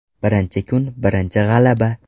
Birinchi kun birinchi g‘alaba.